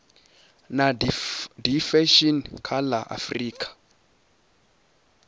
na diffusion kha la afrika